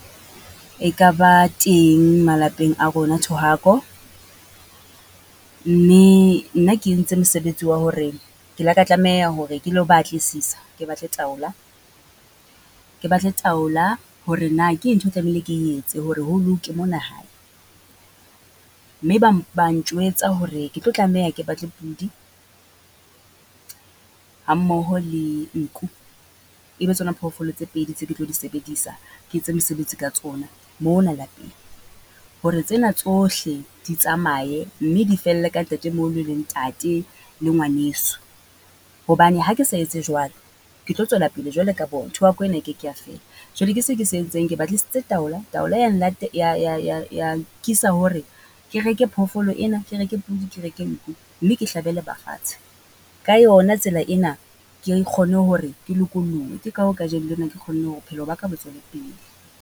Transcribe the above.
E ka ba teng malapeng a rona thohako, mme nna ke entse mosebetsi wa hore, ke le ka tlameha hore ke lo batlisisa ke batle taola. Ke batle taola hore na ke eng ntho e tlamehile ke etse hore ho loke mona hae. Mme bang bang njwetsa hore ke tlo tlameha ke ba tle pudi, ha mmoho le nku, e be tsona phoofolo tse pedi tse ke tlo di sebedisa, ke etse mosebetsi ka tsona, mona lapeng. Hore tsena tsohle di tsamaye, mme di felle ka ntatemoholo le ntate, le ngwaneso. Hobane ha ke sa etse jwalo? Ke tlo tswela pele jwalo ka bona, thohako ena e keke ya fela. Jwale ke se ke se entseng, ke batlisise taola, taolo ya ya ya ya ya nkisa hore ke reke phoofolo ena, Ke reke podi, ke reke nku. Mme ke hlabele ba fatshe, ka yona tsela ena ke kgone hore ke lokollohe. Ke ka hoo kajeno lena ke kgonne hore bophelo ba ka bo tswele pele.